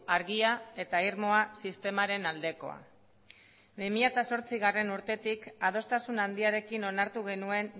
argia eta irmoa sistemaren aldekoa bi mila zortzigarrena urtetik adostasuna handiarekin onartu genuen